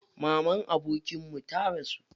Mamar abokinmu ta rasu.